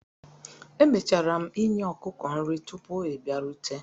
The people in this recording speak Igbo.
Emechara m i nye ọkụkọ nri tupu ị bịarute